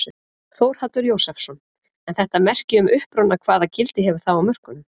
Þórhallur Jósefsson: En þetta merki um uppruna hvaða gildi hefur það á mörkuðum?